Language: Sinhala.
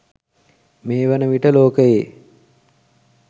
මේ වන විට ලෝකයේ